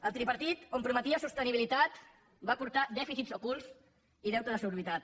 el tripartit on prometia sostenibilitat va portar dèficits ocults i deute desorbitat